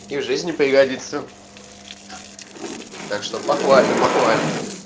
и в жизни пригодится так что похвально похвально